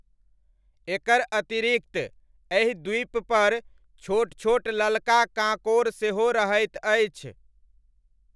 एकर अतिरिक्त एहि द्वीपपर छोट छोट ललका काँकोड़ सेहो रहैत अछि।